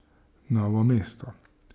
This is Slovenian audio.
Novo mesto.